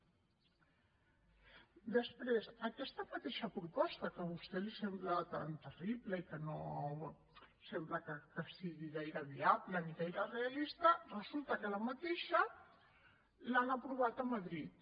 després aquesta mateixa proposta que a vostè li sembla tan terrible i que no sembla que sigui gaire viable ni gaire realista resulta que la mateixa l’han aprovat a madrid